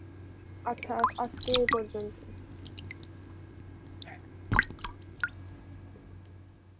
আচ্ছা আজকে এ পর্যন্তই.